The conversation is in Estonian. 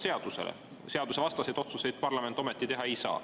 Seadusvastaseid otsuseid parlament ometi teha ei saa.